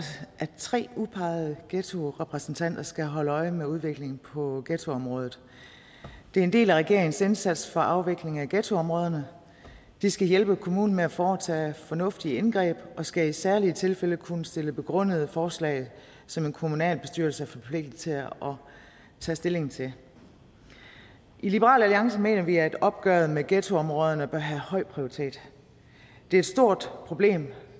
at tre udpegede ghettorepræsentanter skal holde øje med udviklingen på ghettoområdet det er en del af regeringens indsats for afvikling af ghettoområderne de skal hjælpe kommunen med at foretage fornuftige indgreb og skal i særlige tilfælde kunne stille begrundede forslag som en kommunalbestyrelse er forpligtet til at tage stilling til i liberal alliance mener vi at opgøret med ghettoområderne bør have høj prioritet det er et stort problem